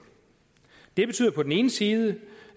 det betyder på den ene side